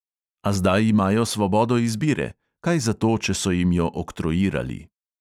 A zdaj imajo svobodo izbire, kaj zato, če so jim jo oktroirali.